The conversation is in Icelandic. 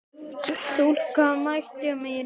Stúlkan mæta mín.